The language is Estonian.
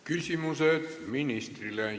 Küsimused ministrile.